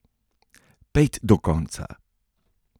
Pejt do konca!